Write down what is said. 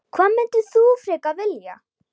Hvað myndir þú frekar vilja?